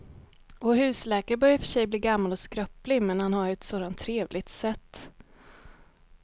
Vår husläkare börjar i och för sig bli gammal och skröplig, men han har ju ett sådant trevligt sätt!